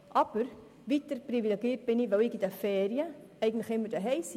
Aber weiter bin ich privilegiert, weil ich während den Ferien zu Hause sein kann.